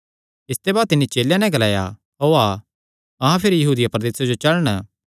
इसते बाद तिन्नी चेलेयां नैं ग्लाया ओआ अहां भिरी यहूदिया प्रदेसे जो चलण